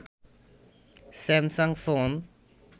Samsung phone